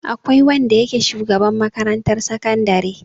Akwai wanda yake shugaban makarantar sakandare.